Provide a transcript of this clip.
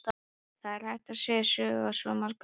Það er hægt að segja sögur á svo marga vegu.